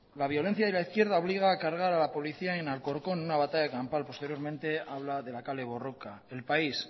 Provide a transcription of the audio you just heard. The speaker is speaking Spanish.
la violencia de la izquierda obliga a cargar a la policía en alcorcón en una batalla campal posteriormente habla de la kale borroka el país